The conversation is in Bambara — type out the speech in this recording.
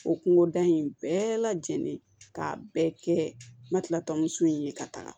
O kungoda in bɛɛ lajɛlen k'a bɛɛ kɛ n ma kila tɔn in ye ka taga